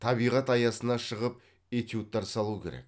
табиғат аясына шығып этюдтар салу керек